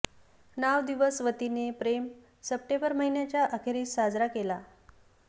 नाव दिवस वतीने प्रेम सप्टेंबर महिन्याच्या अखेरीस साजरा केला